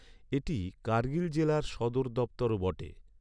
এটি কার্গিল জেলার সদর দপ্তরও বটে।